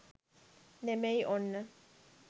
නෙමෙයි ඔන්න.